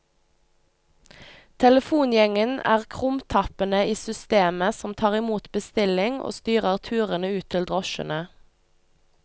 Telefongjengen er krumtappene i systemet som tar imot bestilling og styrer turene ut til drosjene.